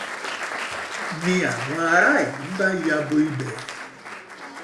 ń ní àwọn aráàlú bá ya bo bo ibẹ̀